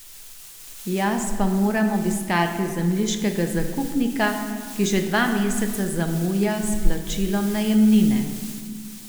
Jaz pa moram obiskati zemljiškega zakupnika, ki že dva meseca zamuja s plačilom najemnine.